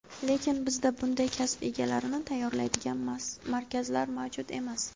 Lekin bizda bunday kasb egalarini tayyorlaydigan markazlar mavjud emas.